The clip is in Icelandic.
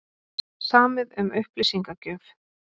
Samið um upplýsingagjöf